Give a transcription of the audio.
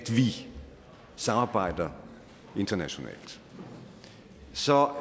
vi samarbejder internationalt så